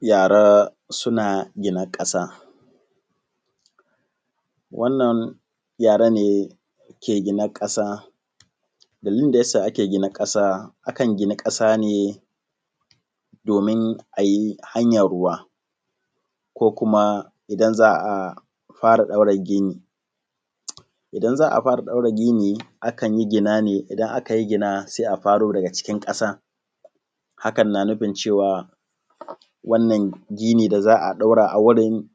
Yara suna gina kasa. Wannan yara ke gina ƙasa, dalilin da yasa ake gina ƙasa akan gina ƙasa ne domin ayi hanyar ruwa ko kuma idan za a fara ɗaura gini, idan za a fara ɗaura gini akanyi gina ne, idan aka yi gina sai a faro daga cikin ƙasan hakan na nufin wanna gini da za ɗaura a wurin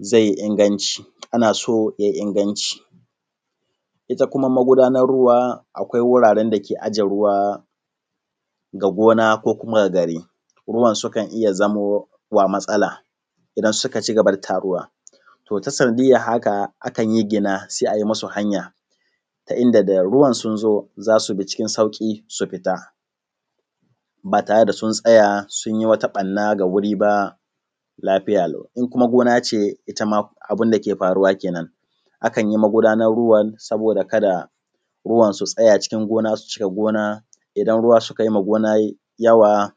zai ingancin, ana so ye inganci. Ita kuma magudanar ruwa akwai wuraren da ke aje ruwa ga gona ko kuma ga gare, ruwan sukan iya zamowa matsala idan suka ci gaba da taruwa, to ta sanadiyar haka akanyi gina sai ai musu hanya ta inda da ruwan sun zo za su bi cikin sauƙi su fita, ba tare da sun tsaya sun yi wata barna ga wuri ba lafiya lau, in kuma gona ce itama abunda ke faruwa kenen akan yi magudanar ruwan saboda kada ruwan su tsaya cikin gona su cika gona idan ruwa suka yimma gona yawa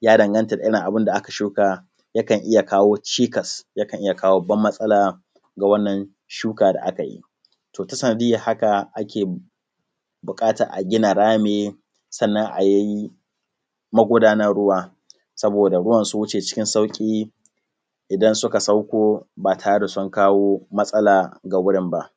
ya danganta da irin abinda aka shuka ya kan iya kawo cikas yakan iya kawo babban matsala ga wannan shuka da aka yi, to ta sanadiyar haka ake buƙatan a gina rami sannan ayi magudanar ruwa saboda ruwan su wuce cikin sauƙi idan suka sauko ba tare da sun kawo matsala ga gurin ba.